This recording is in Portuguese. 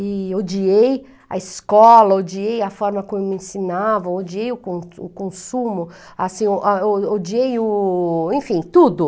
E odiei a escola, odiei a forma como me ensinavam, odiei o con consumo, assim, odiei o... enfim, tudo.